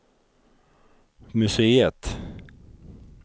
museet